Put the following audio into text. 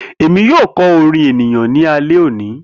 Emi yoo kọ orin eniyan ni alẹ oni.